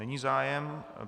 Není zájem.